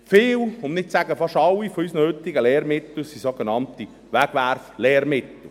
Viele – um nicht zu sagen: fast alle – unserer heutigen Lehrmittel sind sogenannte Wegwerflehrmittel.